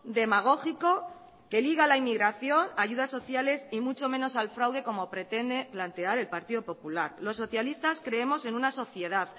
demagógico que liga la inmigración ayudas sociales y mucho menos al fraude como pretende plantear el partido popular los socialistas creemos en una sociedad